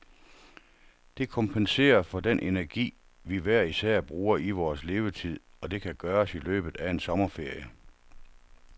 Det kompenserer for den energi, vi hver især bruger i vores levetid, og det kan gøres i løbet af en sommerferie.